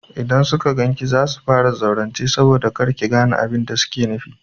Idan suka gan ki za su fara zaurance saboda kar ki gane abin da suke faɗi.